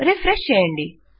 refresh చేయండి